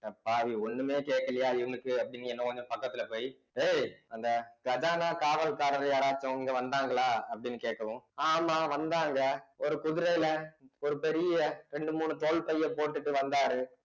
அடப்பாவி ஒண்ணுமே கேட்கலையா இவனுக்கு அப்படின்னு இன்னும் கொஞ்சம் பக்கத்துல போயி ஏய் அந்த கஜானா காவல்காரர் யாராச்சும் இங்க வந்தாங்களா அப்படின்னு கேட்கவும் ஆமா வந்தாங்க ஒரு குதிரையில ஒரு பெரிய ரெண்டு மூணு தோல் பைய போட்டுட்டு வந்தாரு